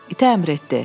İtə əmr etdi.